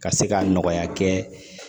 Ka se ka nɔgɔya kɛ